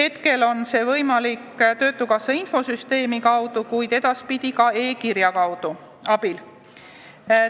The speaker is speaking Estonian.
Praegu on see võimalik töötukassa infosüsteemi kaudu, kuid edaspidi ka e-kirja abil.